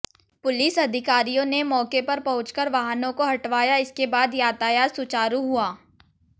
police अधिकारियों ने मौके पर पहुंचकर वाहनों को हटवाया इसके बाद यातायात सुचारु हुआ